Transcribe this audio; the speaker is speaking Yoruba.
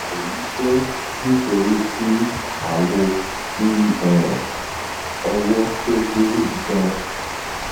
eyi je nitori ti awo ti um owo to gbe gan